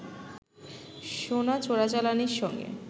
সোনা চোরাচালানির সঙ্গে